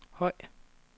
høj